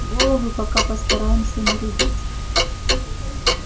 головы пока постараемся не рубить